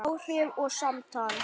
Áhrif og samtal